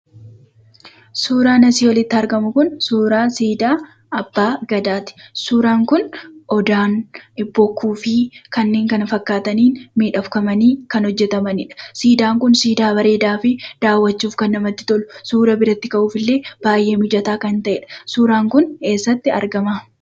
Suuraan asii olitti argamu kun suuraa siidaa abbaa gadaati. Suuraan kun odaan bokkuu fi kanneen kana fakkaataniin miidhagfamanii kan hojjatamanidha. Siidaan kun siidaa bareedaa fi daawwachuuf kan namatti tolu suuraa biratti ka'uufillee baay'ee mijataa ta'edha. Suuraan kun eessatti argama?